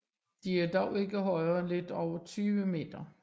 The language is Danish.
De er dog ikke højere end lidt over 20 m